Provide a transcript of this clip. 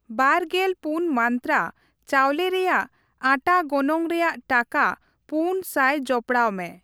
ᱵᱟᱨ ᱜᱮᱞ ᱯᱩᱱ ᱢᱟᱱᱛᱨᱟ ᱪᱟᱣᱞᱮ ᱨᱮᱭᱟᱜ ᱟᱴᱷᱟ ᱜᱚᱱᱚᱝ ᱨᱮᱭᱟᱜ ᱴᱟᱠᱟ ᱯᱩᱱ ᱥᱟᱭ ᱡᱚᱯᱚᱲᱟᱣ ᱢᱮ ᱾